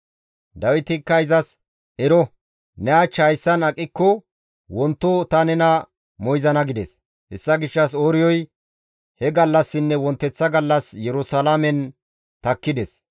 Dawitikka izas, «Ero, ne hach hayssan aqikko wonto ta nena moyzana» gides. Hessa gishshas Ooriyoy he gallassinne wonteththa gallas Yerusalaamen takkides.